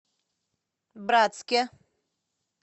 братске